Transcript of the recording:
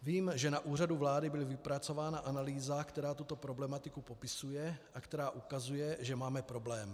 Vím, že na Úřadu vlády byl vypracována analýza, která tuto problematiku popisuje a která ukazuje, že máme problém.